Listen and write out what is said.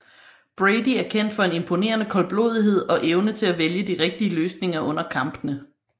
Brady er kendt for en imponerende koldblodighed og evne til at vælge de rigtige løsninger under kampene